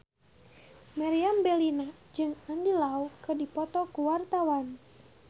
Meriam Bellina jeung Andy Lau keur dipoto ku wartawan